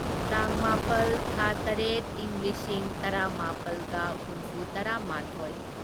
ꯇꯥꯡ ꯃꯥꯄꯜ ꯊꯥ ꯇꯔꯦꯠ ꯢꯪ ꯂꯤꯁꯤꯡ ꯇꯔꯥꯃꯥꯄꯜꯒ ꯍꯨꯝꯐꯨꯇꯔꯥꯃꯥꯊꯣꯢ